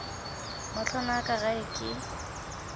matlwana a ka gae ke